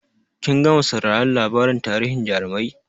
Kin gama sauraron labarin tarihin jarumai?